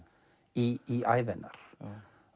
í ævi hennar